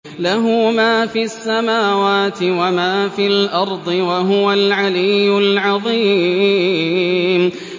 لَهُ مَا فِي السَّمَاوَاتِ وَمَا فِي الْأَرْضِ ۖ وَهُوَ الْعَلِيُّ الْعَظِيمُ